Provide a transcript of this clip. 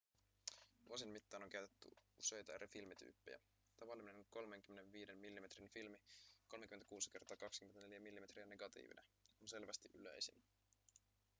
vuosien mittaan on käytetty useita eri filmityyppejä. tavallinen 35 millimetrin filmi 36 × 24 mm negatiivina on selvästi yleisin